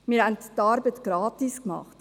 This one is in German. Wir haben die Arbeit gratis gemacht.